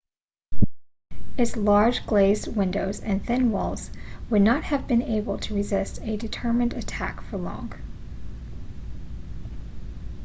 its large glazed windows and thin walls would not have been able to resist a determined attack for long